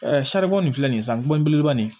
saribɔn nin filɛ nin san kulo belebeleba nin